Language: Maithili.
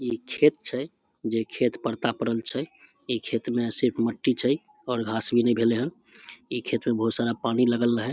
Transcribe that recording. इ खेत छै जेई खेत परता परल छै इ खेत में सिर्फ मट्टी छै और घास भी ने भेले हैन इ खेत में बहुत सारा पानी लगल हई।